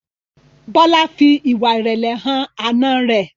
Bola fí ìwà irẹlẹ hàn Àna rẹ